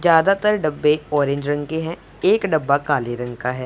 ज्यादातर डब्बे ऑरेंज रंग के हैं एक डब्बा काले रंग का है।